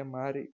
એ મારી